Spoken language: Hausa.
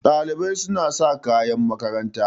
Ɗalibai suna sa kayan makaranta.